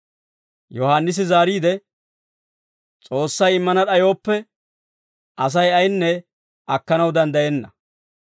Yohaannisi zaariide, «S'oossay immana d'ayooppe, Asay ayinne akkanaw danddayenna.